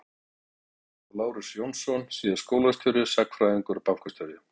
Lýður Björnsson og Lárus Jónsson- síðar skólastjóri, sagnfræðingur og bankastjóri.